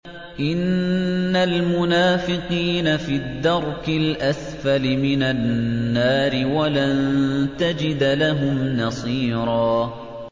إِنَّ الْمُنَافِقِينَ فِي الدَّرْكِ الْأَسْفَلِ مِنَ النَّارِ وَلَن تَجِدَ لَهُمْ نَصِيرًا